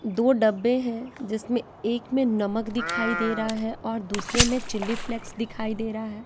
दो डब्बे हैं जिसमें एक में नमक दिखाई दे रहा हैं और दूसरे में चिली फ्लैक्स दिखाई दे रहा हैं।